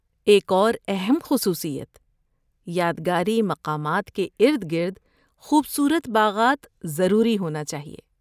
ایک اور اہم خصوصیت یادگاری مقامات کے ارد گرد خوبصورت باغات ضروری ہونا چاہیے